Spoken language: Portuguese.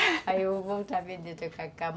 Aí eu vou voltar a vender o tacacá.